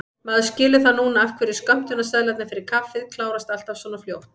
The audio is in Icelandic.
Maður skilur það núna af hverju skömmtunarseðlarnir fyrir kaffið klárast alltaf svona fljótt!